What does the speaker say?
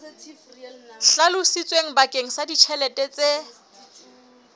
hlalositsweng bakeng sa ditjhelete tse